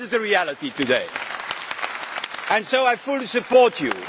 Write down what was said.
That is the reality today, and so I fully support you.